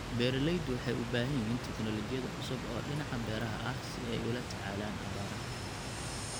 Beeraleydu waxay u baahan yihiin teknoolojiyad cusub oo dhinaca beeraha ah si ay ula tacaalaan abaaraha.